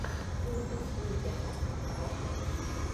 мультик медиамаркт раша ютюб